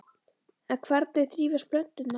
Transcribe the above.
En hvernig þrífast plönturnar?